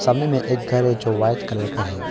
सामने में एक घर है जो व्हाइट कलर का है।